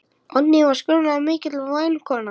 Oddný var skörungur mikill og væn kona.